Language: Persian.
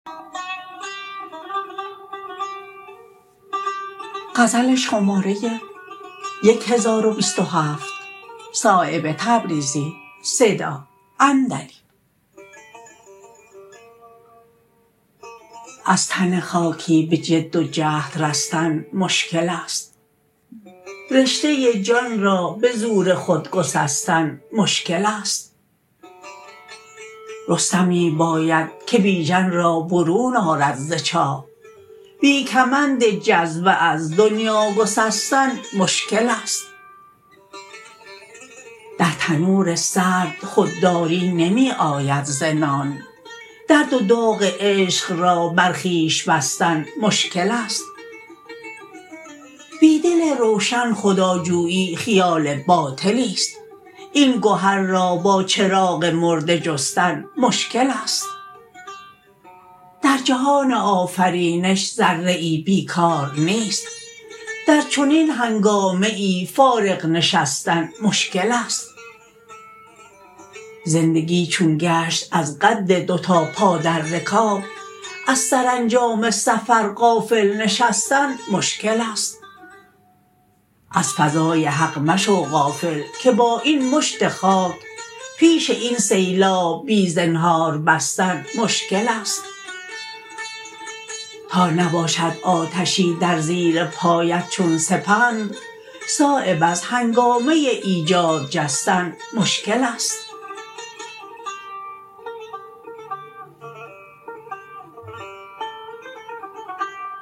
از تن خاکی به جد و جهد رستن مشکل است رشته جان را به زور خود گسستن مشکل است رستمی باید که بیژن را برون آرد ز چاه بی کمند جذبه از دنیا گسستن مشکل است در تنور سرد خودداری نمی آید ز نان درد و داغ عشق را بر خویش بستن مشکل است بی دل روشن خداجویی خیال باطلی است این گهر را با چراغ مرده جستن مشکل است در جهان آفرینش ذره ای بیکار نیست در چنین هنگامه ای فارغ نشستن مشکل است زندگی چون گشت از قد دو تا پا در رکاب از سرانجام سفر غافل نشستن مشکل است از فضای حق مشو غافل که با این مشت خاک پیش این سیلاب بی زنهار بستن مشکل است تا نباشد آتشی در زیر پایت چون سپند صایب از هنگامه ایجاد جستن مشکل است